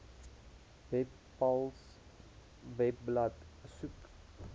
webpals webblad besoek